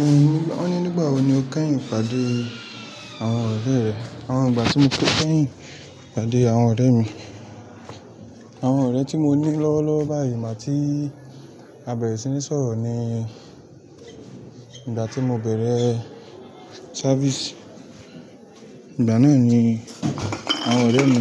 Hun won ní nígbà wo ni o kẹ́yìn pàdé àwọn ọ̀rẹ́ rẹ? Àwọn ìgbà tí mo kẹ́yìn pàdé àwọn ọ̀rẹ́ mi, àwọn ọ̀rẹ́ tí mo ní lọ́wọ́lọ́wọ́ báyìí igba tí a bẹ̀rẹ̀ sí ní sọ̀rọ̀ ni ìgbà tí mo bẹ̀rẹ̀ ṣáfíìsì. Ìgbà náà ni àwọn ọ̀rẹ́ mi,